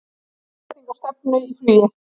Leiðrétting á stefnu í flugi